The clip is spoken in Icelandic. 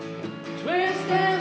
tveir